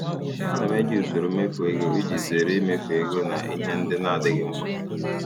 Ana m eji usoro mmefu ego iji zere imefu ego na ihe ndị na-adịghị mkpa.